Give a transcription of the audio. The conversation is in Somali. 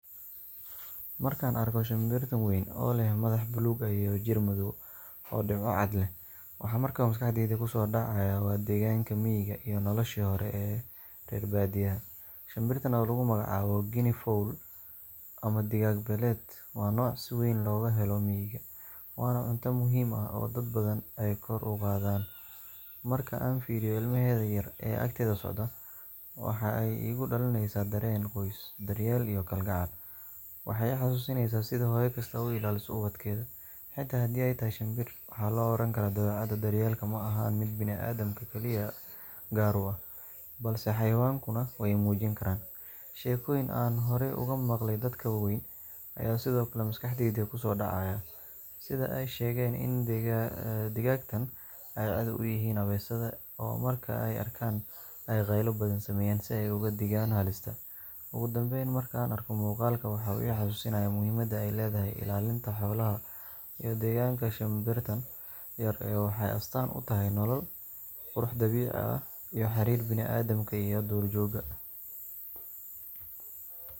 Markaan arko shimbirtan weyn ee leh madax buluug ah iyo jir madaw oo dhibco cad leh, waxa markiiba maskaxdayda ku soo dhaca waa deegaanka miyiga iyo noloshii hore ee reer baadiyaha. Shimbirtan oo lagu magacaabo Guinea fowl ama digaag beeleed, waa nooc si weyn looga helo miyiga, waana cunto muhiim ah oo dad badan ay kor u qaadaan. Marka aan fiiriyo ilmaheeda yar ee agteeda socda, waxa ay igu dhalinaysaa dareen qoys, daryeel iyo kalgacal. Waxay xasuusinaysaa sida hooyo kasta u ilaaliso ubadkeeda, xitaa haddii ay tahay shinbir. Waxaa la oran karaa dabeecadda daryeelka ma ahan mid bini’aadamka kaliya gaar u ah, balse xayawaankuna way muujin karaan. Sheekooyinkii aan hore uga maqlay dadka waaweyn ayaa sidoo kale maskaxdayda ku soo dhacaya – sida ay sheegaan in digaagtaan ay cadow u yihiin abeesada, oo marka ay arkaan ay qaylo badan sameeyaan si ay uga digaan halista. Ugu dambeyn, markaan arko muuqaalkan, waxa uu i xasuusinayaa muhiimadda ay leedahay ilaalinta xoolaha iyo deegaanka. Shimbirtan yar waxay astaan u tahay nolol, qurux dabiici ah iyo xiriirka banii’aadamka iyo duurjoogta.